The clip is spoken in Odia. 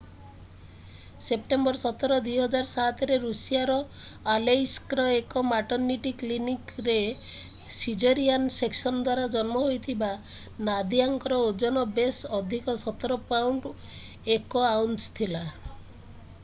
ସେପ୍ଟେମ୍ବର 17 2007ରେ ଋଷିଆର ଆଲେଇସ୍କର ଏକ ମାଟର୍ନିଟି କ୍ଲିନିକରେ ସିଜରିଆନ୍ ସେକ୍ସନ୍ ଦ୍ୱାରା ଜନ୍ମ ହୋଇଥିବା ନାଦିଆଙ୍କର ଓଜନ ବେଶ୍ ଅଧିକ 17 ପାଉଣ୍ଡ 1 ଆଉନ୍ସ ଥିଲା